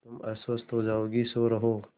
तुम अस्वस्थ हो जाओगी सो रहो